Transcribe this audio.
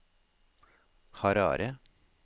Harare